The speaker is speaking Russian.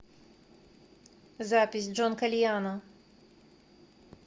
запись джонкальяно